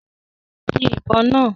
Yìn ìbọn náà!